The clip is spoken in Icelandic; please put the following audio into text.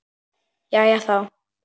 Jæja, þá.